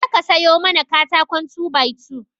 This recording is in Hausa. Je ka sayo mana katakon 2by2